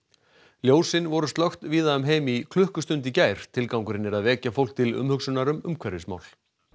ljósin voru slökkt víða um heim í klukkustund í gær tilgangurinn er að vekja fólk til umhugsunar um umhverfismál